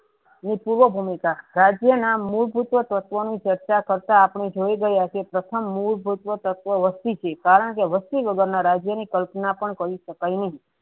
ભૂમિકા રાજ્ય ના મૂળ ભૂ તત્વ નુ ચર્ચા કરતા આપળે જોયી રહ્યા છે કે પ્રથમ મૂળ ભૂત્વ તત્વ વસ્તી છે કારણ કે વસ્તી વગર ના રાજ્ય ની કલ્પના પણ કરી સકાય કરાય છે.